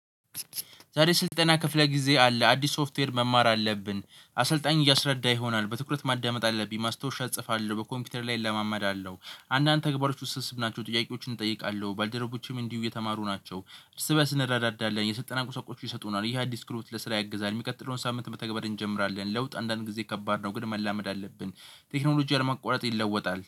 ዛሬ ስልጠና ክፍለ ጊዜ አለ አዲስ ሶፍትዌር መማር አለብን አሰልጣኝ እያስረዳ ይሆናል በትኩረት ማዳመጥ አለብኝ ማስታወሻ እጽፋለሁ በኮምፒውተር ላይ እለማመዳለሁ አለው። አንዳንድ ተግባሮች ውስጥ ስብ ናቸው ጥያቄዎችን እጠይቃለሁ ባልደረቦችም እንዲሁ የተማሩ ናቸው። ርስበስ ረዳዳለን የሰልጠና ቁሳቁዎች ይሰጡናል ይሄ አዲስ ክህሎት ለስራ ያግዛል። የሚቀጥለውን ሳምንት በተግባር እንጀምራለን። ለውጥ አንዳንድ ጊዜ ከባድ ነው ግን መላመድ አለብን። ቴክኖሎጂ አለማቋረጥ ይለወጣል